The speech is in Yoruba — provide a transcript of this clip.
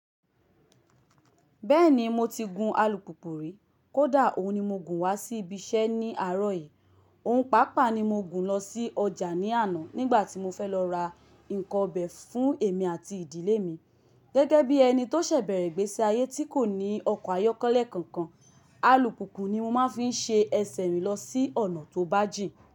Bẹ́ẹ̀ni mo ti gun alùpùpù rí, kódà òun ni mo gùn wá sí ibi iṣẹ́ ní àárọ̀ yìí. Ohùn pàápàá ni mo gùn lọ sí ọjà ní àná nígbà tí mo fẹ́ lọ ra nǹkan ọbẹ̀ fún èmi àti ìdílé mi. Gẹ́gẹ́ bí ẹni tó ṣẹ̀ bẹ̀rẹ̀ ìgbésí ayé tí kò ní ọkọ̀ ayọ́kọ́lẹ́ kankan, alùpùpù ni mo máa ń fi ṣe ẹsẹ̀ rìn lọ sí ọ̀nà tó bà jì.